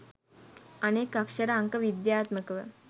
අනෙක් අක්‍ෂර අංක විද්‍යාත්මකව